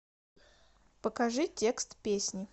покажи текст песни